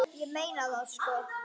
Ég meina það, sko.